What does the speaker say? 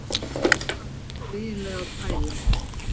Hvað ertu eiginlega að pæla?